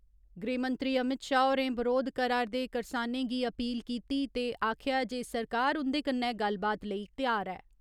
गृहमंत्री अमित शाह होरें बरोध करा रदे करसानें गी अपील कीती ते आखेआ जे सरकार उं'दे कन्नै गल्लबात करने लेई त्यार ऐ।